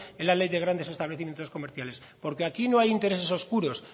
en la ley de grandes establecimientos comerciales porque aquí no hay intereses oscuros